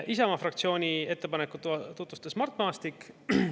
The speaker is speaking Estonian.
Isamaa fraktsiooni ettepanekut tutvustas Mart Maastik.